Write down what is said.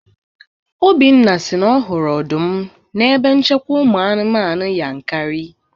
Obinna si na ọ hụrụ ọdụm n'ebe nchekwa ụmụ anụmanụ Yankari